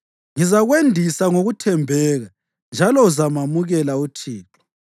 Ngizakwendisa ngokuthembeka, njalo uzamamukela uThixo.